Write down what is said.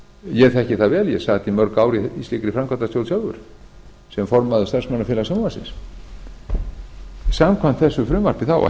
ég þekki það vel ég sat í mörg ár í slíkri framkvæmdastjórn sjálfur sem formaður starfsmannafélags sjónvarpsins samkvæmt þessu frumvarpi á að